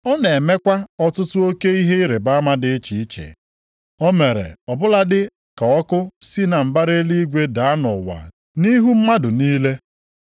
Ọ na-emekwa ọtụtụ oke ihe ịrịbama dị iche iche. O mere ọbụladị ka ọkụ si na mbara eluigwe daa nʼụwa nʼihu mmadụ niile.